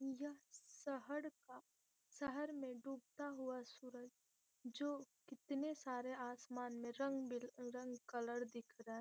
यह शहर का शहर में डूबता हुआ सूरज जो कितने सारे आसमान में रंग बिल रंग कलर दिख रहा है।